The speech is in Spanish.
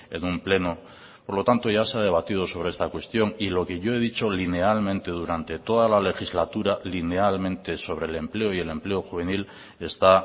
en un pleno por lo tanto ya se ha debatido sobre esta cuestión y lo que yo he dicho linealmente durante toda la legislatura linealmente sobre el empleo y el empleo juvenil está